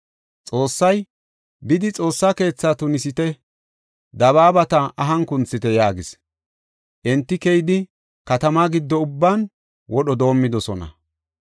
Xoossay, “Bidi Xoossaa keetha tunisite; dabaabata ahan kunthite” yaagis. Enti keyidi, katamaa giddo ubban wodho doomidosona.